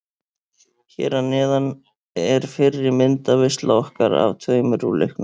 Hér að neðan er fyrri myndaveisla okkar af tveimur úr leiknum.